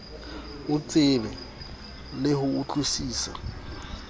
o tseba le ho utlwisisa